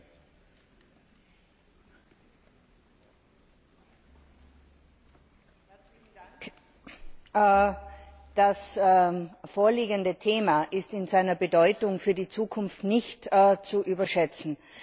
Herr Präsident! Das vorliegende Thema ist in seiner Bedeutung für die Zukunft nicht zu überschätzen.